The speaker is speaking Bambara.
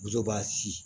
b'a sin